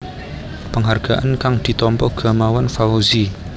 Penghargaan kang ditampa Gamawan Fauzi